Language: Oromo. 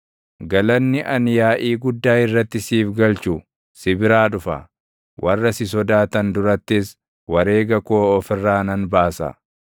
Galanni ani yaaʼii guddaa irratti siif galchu si biraa dhufa; warra si sodaatan durattis wareega koo of irraa nan baasa.